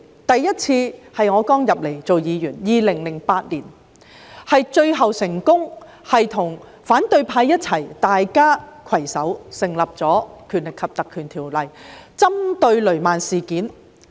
第一次，是在2008年我剛加入立法會當議員，最終成功與反對派攜手根據《條例》成立專責委員會，針對雷曼事件。